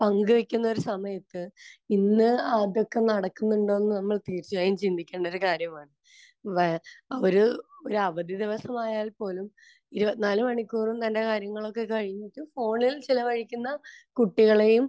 പങ്കുവെയ്ക്കുന്നൊരു സമയത്ത് ഇന്ന് അതൊക്കെ നടക്കുന്നുണ്ടോയെന്ന് നമ്മൾ തീർച്ചയായും ചിന്തിക്കേണ്ടൊരു കാര്യമാണ്. വെ...ഒരു അവധി ദിവസമായാൽ പോലും ഇരുപത്തിനാല് മണിക്കൂറും തന്റെ കാര്യങ്ങളൊക്കെ കഴിഞ്ഞിട്ട് ഫോണിൽ ചിലവഴിക്കുന്ന കുട്ടികളേയും